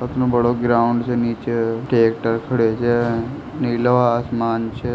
इतनों बड़ो ग्राउंड से नीचे ट्रेक्टर खडयो छे नीलो आसमान छे